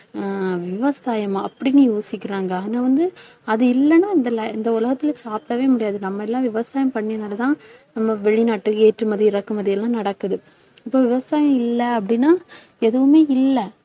ஹம் விவசாயமா அப்படின்னு யோசிக்கிறாங்க. ஆனா வந்து, அது இல்லைன்னா இந்த இந்த உலகத்திலே சாப்பிடவே முடியாது. நம்ம எல்லாம் விவசாயம் பண்ணியதுனாலேதான் நம்ம வெளிநாட்டு ஏற்றுமதி, இறக்குமதி எல்லாம் நடக்குது. இப்போ விவசாயம் இல்லை அப்படின்னா எதுவுமே இல்லை